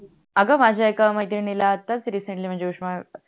अग माझ्या एका मैत्रिणीला आताच रिसेंटली म्हणजे उष्ण